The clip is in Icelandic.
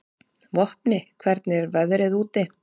Vopni, hvernig er veðrið úti?